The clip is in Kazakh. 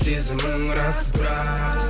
сезімің рас бірақ